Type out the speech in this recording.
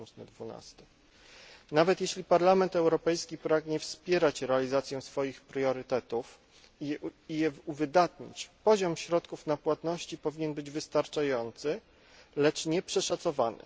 2012. Nawet jeśli Parlament Europejski pragnie wspierać realizację swoich priorytetów i je uwydatnić, poziom środków na płatności powinien być wystarczający, lecz nieprzeszacowany.